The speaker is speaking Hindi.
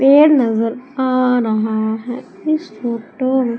पेड़ नजर आ रहा है इस फोटो म--